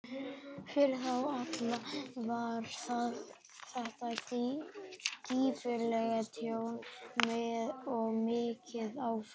Fyrir þá alla var þetta gífurlegt tjón og mikið áfall.